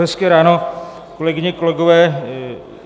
Hezké ráno, kolegyně, kolegové.